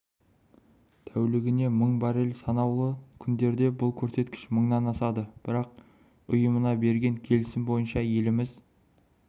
тәулігіне мың баррель санаулы күндерде бұл көрсеткіш мыңнан асады бірақ ұйымына берген келісім бойынша еліміз